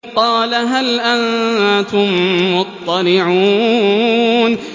قَالَ هَلْ أَنتُم مُّطَّلِعُونَ